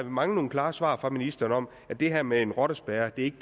mangler nogle klare svar fra ministeren om at det her med en rottespærre ikke